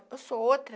Eu sou outra.